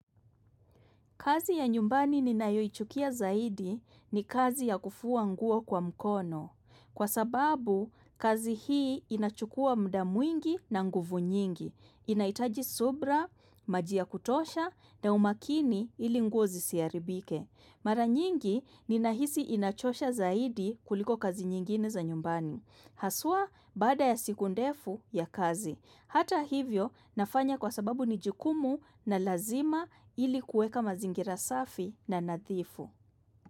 Kazi ya nyumbani ninayoichukia zaidi ni kazi ya kufua nguo kwa mkono. Kwa sababu, kazi hii inachukua muda mwingi na nguvu nyingi. Inahitaji subra, maji ya kutosha na umakini ili nguo zisiharibike. Mara nyingi, ninahisi inachosha zaidi kuliko kazi nyingine za nyumbani. Haswa, baada ya siku ndefu ya kazi. Hata hivyo nafanya kwa sababu ni jukumu na lazima ili kuweka mazingira safi na nadhifu.